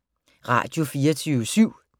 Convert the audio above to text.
Radio24syv